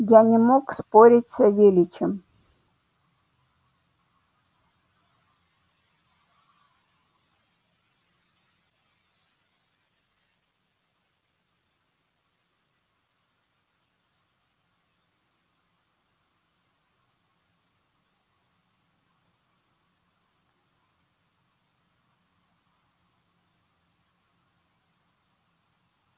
я не мог спорить с савельичем